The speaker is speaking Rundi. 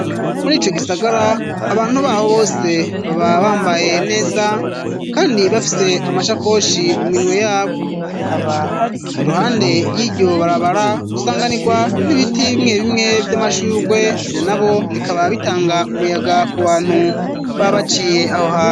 Muri ico gisagara, abantu baho bose baba bambaye neza kandi bafise amashakoshi mu minwe yabo. Iruhande y'iryo barabara, usanganirwa n'ibiti bimwe bimwe vy'amashurwe. Ivyo navyo bikaba bitanga umuyaga ku bantu baba baciye aho hantu.